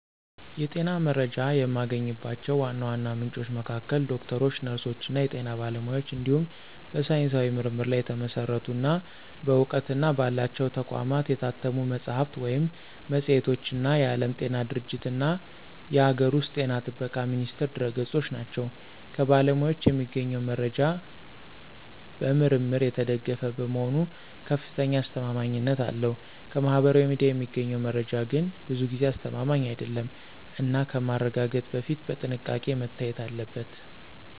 የጤና መረጃ የማገኝባቸው ዋና ዋና ምንጮች መካከል ዶክተሮች፣ ነርሶች እና የጤና ባለሙያዎች እንዲሁም በሳይንሳዊ ምርምር ላይ የተመሰረቱ እና በእውቅና ባላቸው ተቋማት የታተሙ መጽሐፍት ወይም መጽሔቶች እና የዓለም ጤና ድርጅትእና የአገር ውስጥ ጤና ጥበቃ ሚኒስቴር ድረ-ገጾች ናቸው። ከባለሙያዎች የሚገኘው መረጃ በምርምር የተደገፈ በመሆኑ ከፍተኛ አስተማማኝነት አለው። ከማህበራዊ ሚዲያ የሚገኘው መረጃ ግን ብዙ ጊዜ አስተማማኝ አይደለም እና ከማረጋገጥ በፊት በጥንቃቄ መታየት አለበት።